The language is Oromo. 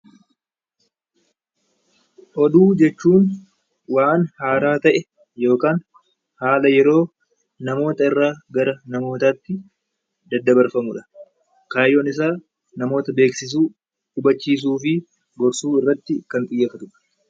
Oduu jechuun waan haaraa ta'e yookaan haala yeroo namoota irraa gara namootaa tti daddabarfamu dha. Kaayyoon isaa namoota beeksisuu, hubachiisuu fi gorsuu irratti kan xiyyeeffatu dha.